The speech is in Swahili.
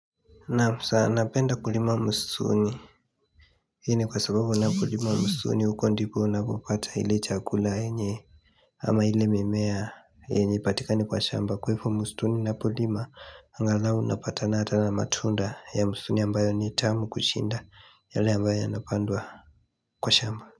Naam sa napenda kulima msituni hii ni kwa sababu napokulima msituni huko ndipo napopata ile chakula yenye ama ile mimea yenye haipatikani kwa shamba kwa hivo msituni napolima angalau unapatana hata na matunda ya msituni ambayo ni tamu kushinda yale ambayo yanapandwa kwa shamba.